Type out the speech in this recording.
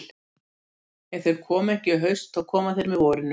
Ef þeir koma ekki í haust þá koma þeir með vorinu.